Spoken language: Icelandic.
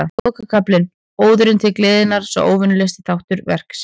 Lokakaflinn, Óðurinn til gleðinnar, er óvenjulegasti þáttur verksins.